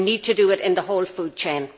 We need to do it in the whole food chain.